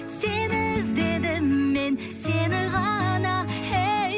сені іздедім мен сені ғана ей